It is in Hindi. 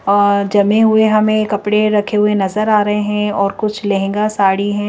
और जमे हुए हमें कपड़े रखे हुए नजर आ रहे हैं और कुछ लहंगा साड़ी हैं।